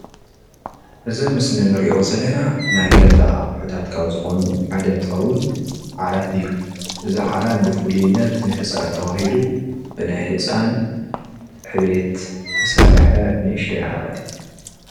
እዚ ኣብ ምስሊ ንርኦ ዘለና ናይ ገዛ ኣቁሑትታት ካብዝኮኑ ሓደ እንትኸውን ዓራት እዩ ።እዚ ዓራት ብፍልይነት ንህፃን ተባህሉ ብናይ ህፃን ዕብየት ዝተሰረሓ ንእሽተይ ዓራት እዩ።